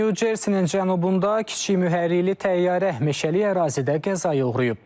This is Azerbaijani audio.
New Jerseynin cənubunda kiçik mühərrikli təyyarə meşəlik ərazidə qəzaya uğrayıb.